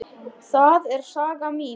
Það er saga mín.